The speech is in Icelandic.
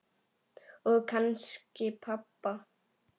Og kannski pabba.